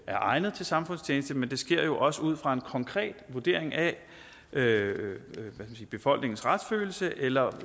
er egnet til samfundstjeneste men det sker jo også ud fra en konkret vurdering af befolkningens retsfølelse eller